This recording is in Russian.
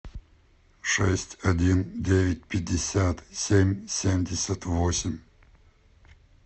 шесть один девять пятьдесят семь семьдесят восемь